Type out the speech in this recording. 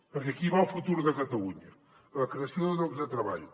perquè aquí hi va el futur de catalunya la creació de llocs de treball